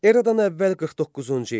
Eradan əvvəl 49-cu il.